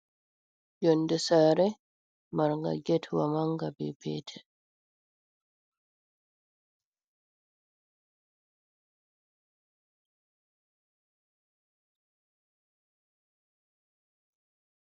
Yonde sare mar nga get wa manga be petel.